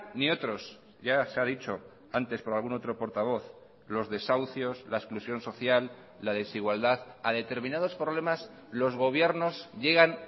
ni otros ya se ha dicho antes por algún otro portavoz los desahucios la exclusión social la desigualdad a determinados problemas los gobiernos llegan